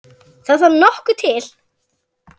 Sex ára nám í Versló.